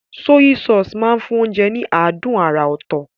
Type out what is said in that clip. Sọ́yí sọọ̀sì máa ń fún oúnjẹ ní adùn àrà ọ̀tọ̀.